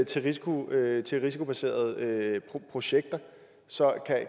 til risikobaserede til risikobaserede projekter så